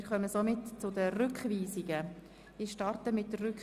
Wer diesem Antrag zustimmt, stimmt Ja, wer diesen ablehnt, stimmt Nein.